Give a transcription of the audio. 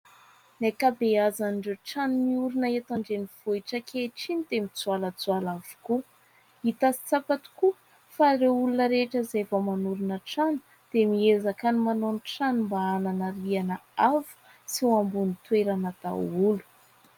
Ny ankabeazan'ireo trano miorina eto an-drenivohitra ankehitriny dia mijoalajoala avokoa. Hita sy tsapa tokoa fa ireo olona rehetra, izay vao manorina trano, dia miezaka manao ny trano mba hanana rihana avo, sy ho ambony toerana daholo.